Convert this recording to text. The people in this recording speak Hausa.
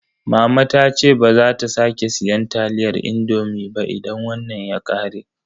Mama ta ce baza ta sake siyan taliyar indomi ba idan wannan ya ƙare.